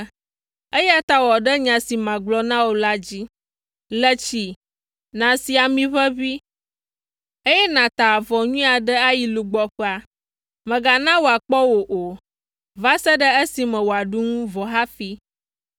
eya ta wɔ ɖe nya si magblɔ na wò la dzi. Le tsi, nàsi amiʋeʋĩ, eye nàta avɔ nyui aɖe ayi lugbɔƒea. Mègana wòakpɔ wò o, va se ɖe esime wòaɖu nu vɔ hafi.